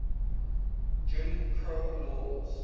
jim crow laws